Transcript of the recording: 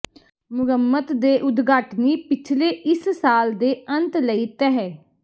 ਮੁਰੰਮਤ ਦੇ ਉਦਘਾਟਨੀ ਪਿਛਲੇ ਇਸ ਸਾਲ ਦੇ ਅੰਤ ਲਈ ਤਹਿ